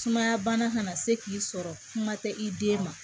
Sumaya bana kana se k'i sɔrɔ kuma tɛ i den ma